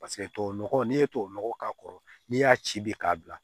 Paseke tubabu nɔgɔ n'i ye tubabu nɔgɔ k'a kɔrɔ n'i y'a ci bi k'a bila